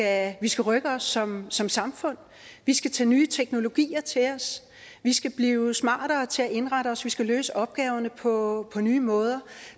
at vi skal rykke os som som samfund vi skal tage nye teknologier til os vi skal blive smartere til at indrette os vi skal løse opgaverne på nye måder